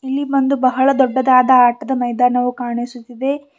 ಇಲ್ಲಿ ಒಂದು ಬಹಳ ದೊಡ್ಡದಾದ ಆಟದ ಮೈದಾನವು ಕಾಣಿಸುತ್ತಿದೆ.